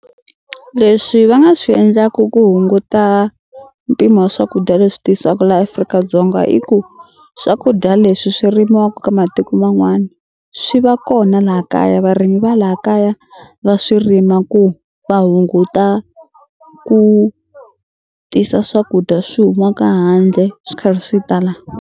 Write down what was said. Leswi va nga swi endlaku ku hunguta mpimo wa swakudya leswi tisiwaku la Afrika-Dzonga i ku swakudya leswi swi rimiwaku ka matiku man'wana swi va kona laha kaya varimi va laha kaya va swi rima ku va hunguta ku tisa swakudya swi humaka handle swi karhi swi ta la.